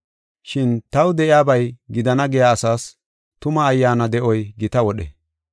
Shin taw de7iyabay gidana giya asas tuma ayyaana de7oy gita wodhe.